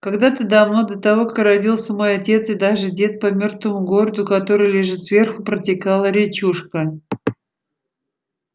когда-то давно до того как родился мой отец и даже дед по мёртвому городу который лежит сверху протекала речушка